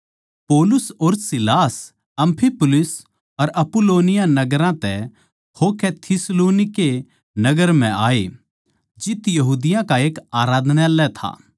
पौलुस अर सीलास अम्फिपुलिस अर अपुल्लोनिया नगरां तै होकै थिस्सलुनीके नगर म्ह आये जित यहूदिया का एक आराधनालय था